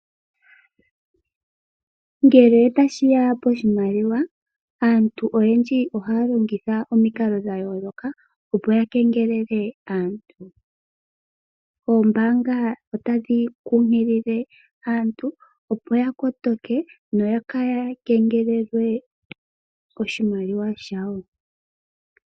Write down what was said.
Ngele tashiya poshimaliwa, aantu oyendji ohaya longitha omikalo dhayooloka opo ya kengelelwe aantu. Oombaanga otadhi kunkilile aantu opo ya kotoke nokaaya kengelelwe koshimaliwa shawo.